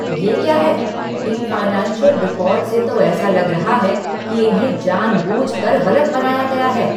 ये क्या है! इन फाइनेंशियल रिकॉर्ड से तो ऐसा लग रहा है कि इन्हें जानबूझकर गलत बनाया गया है।